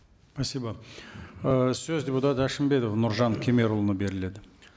спасибо ы сөз депутат әшімбетов нұржан кемерұлына беріледі